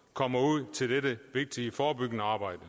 kommer ud til dette vigtige forebyggende arbejde